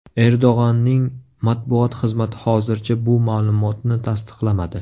Erdo‘g‘onning matbuot xizmati hozircha bu ma’lumotni tasdiqlamadi.